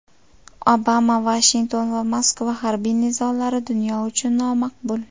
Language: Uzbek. Obama: Vashington va Moskva harbiy nizolari dunyo uchun nomaqbul.